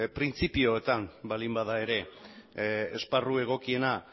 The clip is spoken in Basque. printzipioetan baldin bada ere esparru egokiena